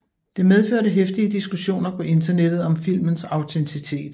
Det medførte heftige diskussioner på internettet om filmens autenticitet